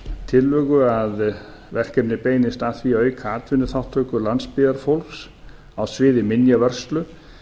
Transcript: tillögu að verkefnið beinist að því að auka atvinnuþátttöku landsbyggðarfólks á sviði minjavörslu